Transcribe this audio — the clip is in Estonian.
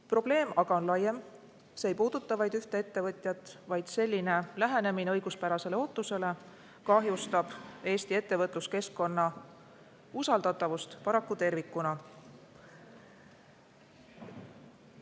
Probleem aga on laiem, see ei puuduta vaid ühte ettevõtjat, vaid selline lähenemine õiguspärasele ootusele kahjustab paraku Eesti ettevõtluskeskkonna usaldatavust tervikuna.